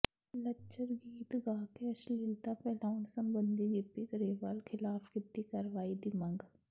ਲੱਚਰ ਗੀਤ ਗਾ ਕੇ ਅਸ਼ਲੀਲਤਾ ਫੈਲਾਉਣ ਸਬੰਧੀ ਗਿੱਪੀ ਗਰੇਵਾਲ ਿਖ਼ਲਾਫ਼ ਕੀਤੀ ਕਾਰਵਾਈ ਦੀ ਮੰਗ